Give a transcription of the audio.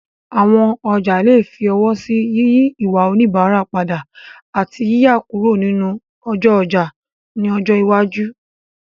Àwọn ọjà lè fi ọwọ́ sí yíyí ìwà oníbàárà padà, àti yíyà kúrò nínú ọjọ́ ọjà ní ọjọ́ iwájú.